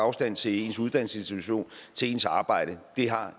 afstand til ens uddannelsesinstitution og til ens arbejde har